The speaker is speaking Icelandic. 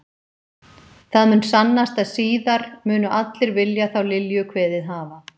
Það mun sannast að síðar munu allir vilja þá Lilju kveðið hafa.